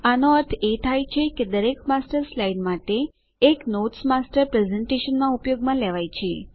આનો અર્થ એ થાય છે દરેક માસ્ટર સ્લાઇડ માટે એક નોટ્સ માસ્ટર પ્રેસેન્ટેશનમાં ઉપયોગમાં લેવાયેલ છે